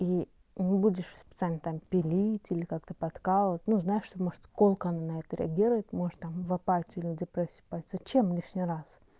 и не будешь специально там пилить или как-то подкалывать ну знаешь что может колко на это реагировать может там в апатию или депрессию упасть зачем лишний раз